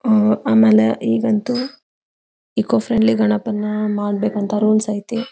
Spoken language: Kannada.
ಅಹ್ ಆಮೇಲೆ ಈಗಂತೂ ಇಕೋ ಫ್ರೆಂಡ್ಲಿ ಗಣಪನ ಮಾಡಬೇಕಅಂತ ರೂಲ್ಸ್ ಐತಿ.